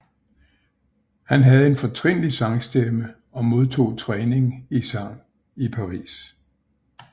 Han havde en fortrinlig sangstemme og modtog træning i sang i Paris